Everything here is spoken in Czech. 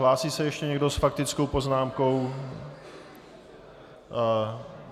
Hlásí se ještě někdo s faktickou poznámkou?